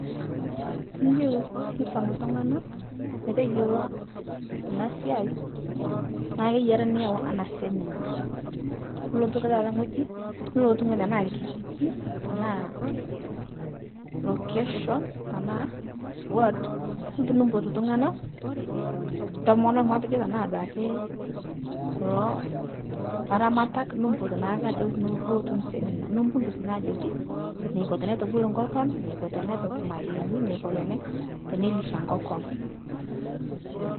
Tiniyeu nisom ltung'ana meteyolo ana siai, naa keiyiari niyau ana semina nolotu ake taata ng'oji nulotu ng'oji tanaa lkijiji, tanaa location ,tanaa ward ,nilotu nipot ltung'ana ntomonok matejo tanaa sii duake, kulo laramatak nipot naake ajoki outu semina nipudus naa ajoki, neko tenetubulu nkokon, neko tenepik mayeeni, neko tene tenelisha nkokon.